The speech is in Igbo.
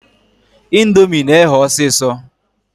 Indomie na-eghe ọsịsọ.